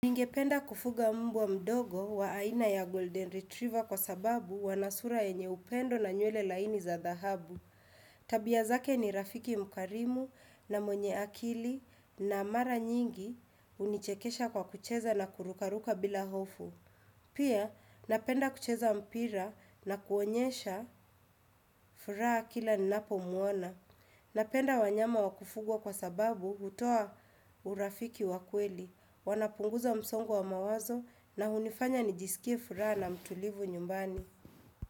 Ningependa kufuga mbwa mdogo wa aina ya Golden Retriever kwa sababu wana sura yenye upendo na nywele laini za dhahabu. Tabia zake ni rafiki mkarimu na mwenye akili na mara nyingi hunichekesha kwa kucheza na kurukaruka bila hofu. Pia napenda kucheza mpira na kuonyesha furaha kila ninapomuona. Napenda wanyama wa kufugwa kwa sababu hutoa urafiki wa kweli, wanapunguza msongo wa mawazo na hunifanya nijisikie furaha na mtulivu nyumbani.